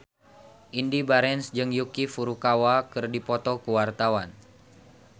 Indy Barens jeung Yuki Furukawa keur dipoto ku wartawan